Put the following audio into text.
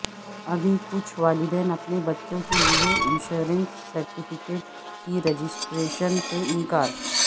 ابھی کچھ والدین اپنے بچوں کے لئے انشورنس سرٹیفکیٹ کی رجسٹریشن سے انکار